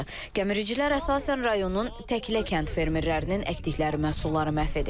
Gəmiricilər əsasən rayonun Təklə kənd fermerlərinin əkdikləri məhsulları məhv edib.